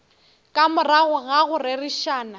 ka morago ga go rerišana